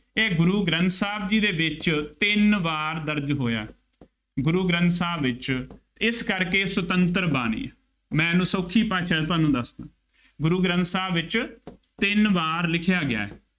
ਇਹ ਗੁਰੂ ਗ੍ਰੰਥ ਸਾਹਿਬ ਜੀ ਦੇ ਵਿੱਚ ਤਿੰਨ ਵਾਰ ਦਰਜ ਹੋਇਆ ਹੈ। ਗੁਰੂ ਗ੍ਰੰਥ ਸਾਹਿਬ ਵਿੱਚ, ਇਸ ਕਰਕੇ ਸੁਤੰਤਰ ਬਾਣੀ, ਮੈਂ ਇਹਨੂੰ ਸੌਖੀ ਭਾਸ਼ਾ ਦੇ ਵਿੱਚ ਤੁਹਾਨੂੰ ਦੱਸਦਾ, ਗੁਰੂ ਗ੍ਰੰਥ ਸਾਹਿਬ ਵਿੱਚ ਤਿੰਨ ਵਾਰ ਲਿਖਿਆ ਗਿਆ।